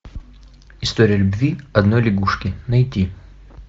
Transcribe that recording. история любви одной лягушки найти